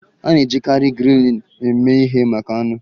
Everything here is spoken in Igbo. A na-ejikarị grillin eme ihe maka anụ.